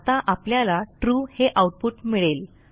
आता आपल्याला ट्रू हे आऊटपुट मिळेल